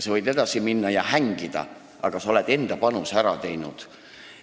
Sa võid edasi minna ja hängida, aga sa oled enda panuse teinud.